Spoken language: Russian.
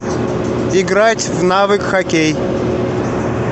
играть в навык хоккей